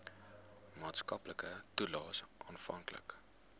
maatskaplike toelaes afhanklik